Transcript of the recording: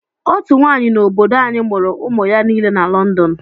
Otú nwaanyị n'obodo anyi mụrụ ụmụ ya nile na London.